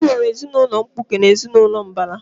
E nwere ezinaụlọ mkpuke na ezinaụlọ mbara